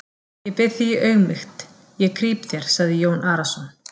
Ég bið þig í auðmýkt, ég krýp þér, sagði Jón Arason.